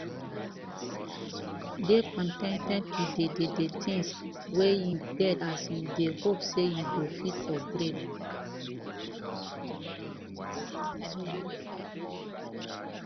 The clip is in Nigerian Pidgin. dey con ten ted with di di things wey you get as you dey hope sey you go fit upgrade